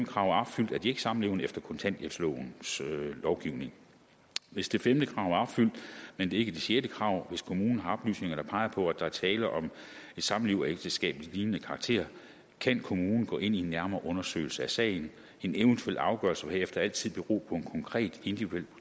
krav er opfyldt er de ikke samlevende efter kontanthjælplovens lovgivning hvis det femte krav er opfyldt men ikke det sjette krav hvis kommunen har oplysninger der peger på at der er tale om et samliv af ægteskabslignende karakter kan kommunen gå ind i en nærmere undersøgelse af sagen en eventuel afgørelse vil herefter altid bero på en konkret individuel